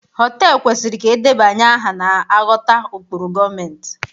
họtelu kwesịrị ka edebanye aha na-aghọta ụkpụrụ gọọmentị